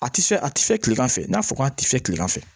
A ti fɛ a ti fɛ kilegan fɛ n'a fɔra k'a ti fɛ kilegan fɛ